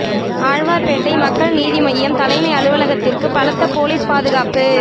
ஆழ்வார்பேட்டை மக்கள் நீதி மய்யம் தலைமை அலுவலகத்திற்கு பலத்த போலீஸ் பாதுகாப்பு